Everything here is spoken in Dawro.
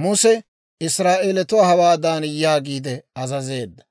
Muse Israa'eelatuwaa hawaadan yaagiide azazeedda;